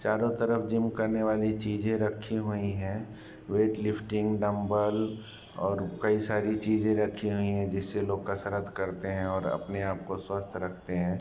चारों तरफ जिम करने वाली चीजें रखी हुई हैं। वेट लिफ्टिंग डम्बल और कई सारी चीजें रखी हुई हैं जिससे लोग कसरत करते हैं और अपने आपको स्वस्थ रखते हैं।